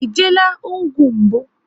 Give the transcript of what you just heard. E jeela hụ ugwu mbụ?